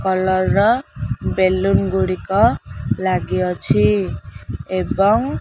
Colour ର balloon ଗୁଡ଼ିକ ଲାଗି ଅଛି ଏବଂ।